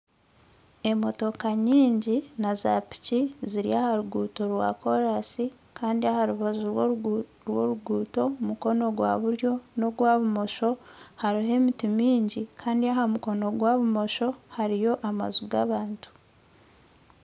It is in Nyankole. Emotooka nyingi na zaapiki zirya aha ruguuto rwakoraasi Kandi aha rubaju rw'oruguuto mukono gwa buryo nogwa bumosho, hariho emiti mingi kandi omukono gwa bumosho hariyo amaju g'abantu